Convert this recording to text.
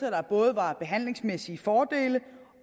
at der både var behandlingsmæssige fordele